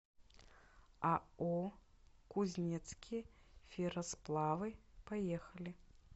ао кузнецкие ферросплавы поехали